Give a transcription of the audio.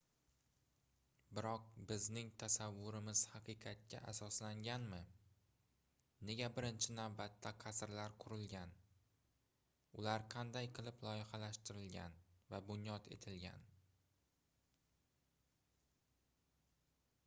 biroq bizning tasavvurimiz haqiqatga asoslanganmi nega birinchi navbatda qasrlar qurilgan ular qanday qilib loyihalashtirilgan va bunyod etilgan